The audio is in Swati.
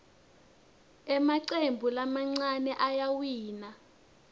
emacembu lamancane ayawina